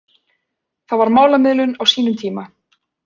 Það var málamiðlun á sínum tíma